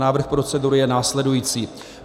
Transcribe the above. Návrh procedury je následující.